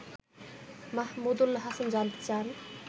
মাহমুদুল হাসান জানতে চান